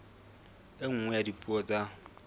e nngwe ya dipuo tsa